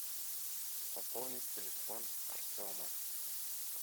пополнить телефон артема